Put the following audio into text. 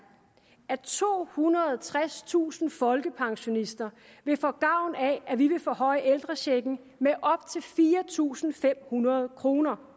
at tohundrede og tredstusind folkepensionister vil få gavn af at vi vil forhøje ældrechecken med op til fire tusind fem hundrede kroner